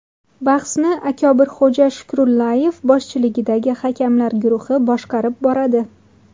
Bahsni Akobirxo‘ja Shukrullayev boshchiligidagi hakamlar guruhi boshqarib boradi.